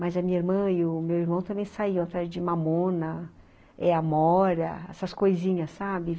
Mas a minha irmã e o meu irmão também saíam atrás de mamona eh amora, essas coisinhas, sabe?